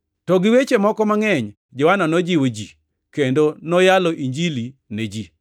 To gi weche moko mangʼeny Johana nojiwo ji kendo noyalo Injili ne ji.